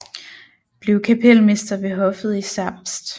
Blev kapelmester ved hoffet i Zerbst